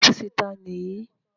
Ọ́fìsì ta ni èyí?